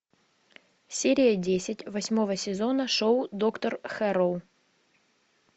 серия десять восьмого сезона шоу доктор хэрроу